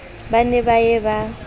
ba ne ba ye ba